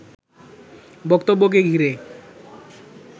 বক্তব্যকে ঘিরে